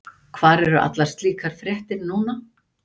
Hvar eru allar slíkar fréttir núna?